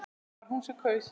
Það var hún sem kaus!